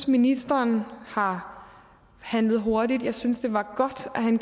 ministeren har handlet hurtigt jeg synes det var godt at han